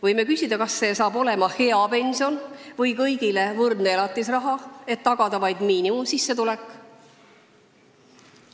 Võime küsida, kas see saab olema hea pension või kõigile võrdne elatisraha, et tagada vaid miinimumsissetulek.